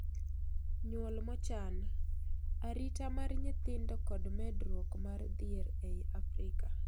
Nyuol mochan:Arita mar nyithindo kod medruok mar dhier ei Afrika